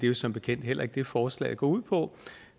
jo som bekendt heller ikke det forslaget går ud på